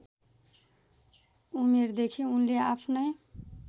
उमेरदेखि उनले आफ्नै